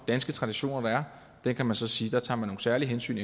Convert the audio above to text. danske traditioner der er kan man så sige at man tager nogle særlige hensyn